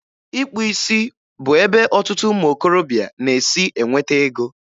Ịkpụ isi bụ ebe ọtụtụ ụmụ okorobịa na-esi enweta ego.